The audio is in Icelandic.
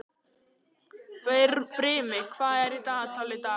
Brimi, hvað er í dagatalinu í dag?